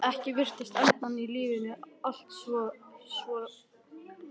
Ekkert virtist endast í lífi mínu, allt var svo endasleppt.